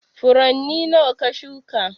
Furanni nawa ka shuka?